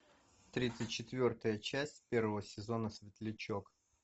тридцать четвертая часть первого сезона светлячок